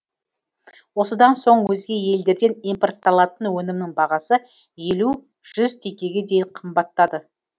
осыдан соң өзге елдерден импортталатын өнімнің бағасы елу жүз теңгеге дейін қымбаттады